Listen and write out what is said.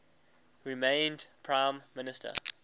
remained prime minister